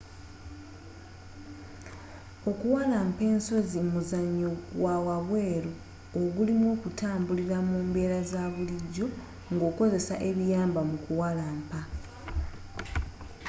okuwalampa ensozi muzanyo gwawabweru ogulimu okutambulira mu mbeera zabulijjo ngokozesa ebiyamba mu kuwalampa